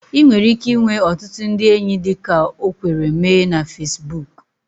Ị nwere ike inwe ọtụtụ ndị enyi dịka o kwere mee na Fesbuku